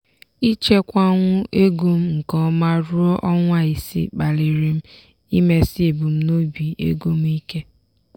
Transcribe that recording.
ịchekwanwu ego m nke ọma ruo ọnwa isii kpaliri m imesi ebumnobi ego m ike.